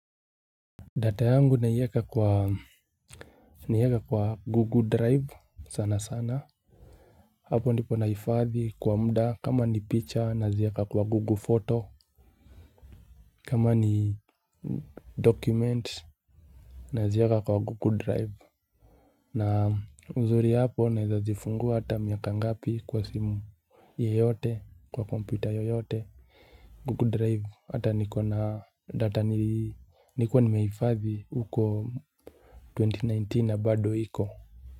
Data yangu naieka kwa naieka kwa google drive sana sana hapo ndipo nahifadhi kwa muda kama ni picha nazieka kwa google photo kama ni document nazieka kwa google drive na uzuri hapo narza zifungua hata miaka ngapi kwa simu yeyote kwa kompyuta yoyote google drive hata nikona data nilikuwa nimehifadhi uko elfu mbili na kumi na tisa na bado iko.